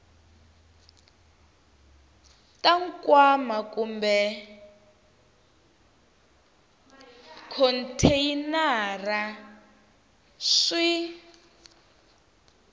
ta nkwama kumbe khonteyinara swi